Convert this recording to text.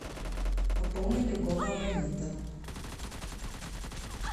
пополнить другого абонента